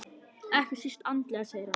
Ekki síst andlega segir hann.